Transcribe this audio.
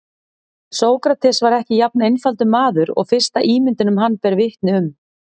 Sókrates var ekki jafn einfaldur maður og fyrsta ímyndin um hann ber vitni um.